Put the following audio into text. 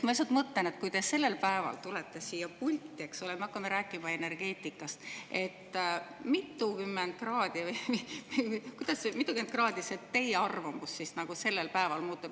Ma lihtsalt mõtlen, et kui te sellel päeval tulete siia pulti, eks ole, me hakkame rääkima energeetikast, mitukümmend kraadi see teie arvamust siis nagu sellel päeval?